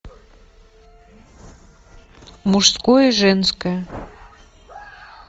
мужское женское